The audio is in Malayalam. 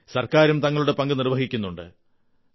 ഗവൺമെന്റും തങ്ങളുടെ പങ്ക് നിർവ്വഹിക്കുന്നുണ്ട്